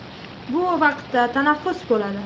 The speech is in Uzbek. Bu vaqtda tanaffus bo‘ladi.